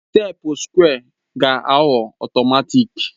teepu sukwé ga-aghọ ọtọmatịk